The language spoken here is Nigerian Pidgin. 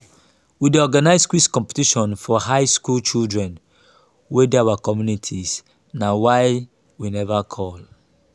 we dey organize quiz competition for high school children wey dey our community na why we never call